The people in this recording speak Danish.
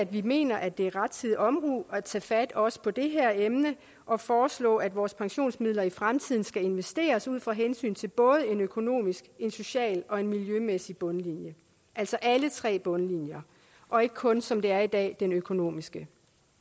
vi mener at det er rettidig omhu at tage fat også på det her emne og foreslå at vores pensionsmidler i fremtiden skal investeres ud fra hensyn til både en økonomisk en social og en miljømæssig bundlinje altså alle tre bundlinjer og ikke kun som det er i dag den økonomiske